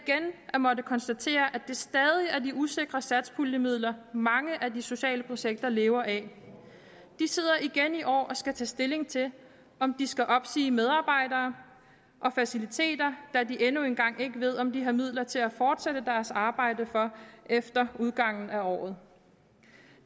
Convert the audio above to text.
at måtte konstatere at det stadig er de usikre satspuljemidler mange af de sociale projekter lever af de sidder igen i år og skal tage stilling til om de skal opsige medarbejdere og faciliteter da de endnu engang ikke ved om de har midler til at fortsætte deres arbejde efter udgangen af året